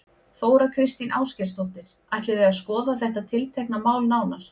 Þóra Kristín Ásgeirsdóttir: Ætlið þið að skoða þetta tiltekna mál nánar?